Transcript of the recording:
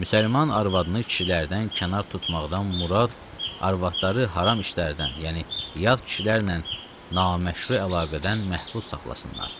Müsəlman arvadını kişilərdən kənar tutmaqdan murad arvadları haram işlərdən, yəni yad kişilərlə naməşru əlaqədən məhfuz saxlasınlar.